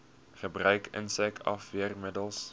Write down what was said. gebruik insek afweermiddels